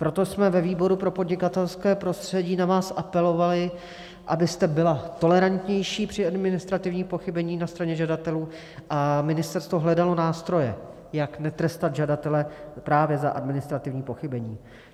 Proto jsme ve výboru pro podnikatelské prostředí na vás apelovali, abyste byla tolerantnější při administrativním pochybení na straně žadatelů a ministerstvo hledalo nástroje, jak netrestat žadatele právě za administrativní pochybení.